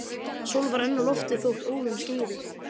Sól var enn á lofti þótt óðum skyggði.